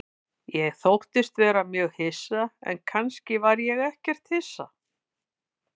Ég þóttist vera mjög hissa, en kannski var ég ekkert hissa.